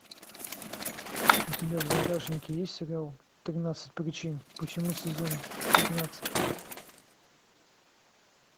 у тебя в загашнике есть сериал тринадцать причин почему сезон пятнадцать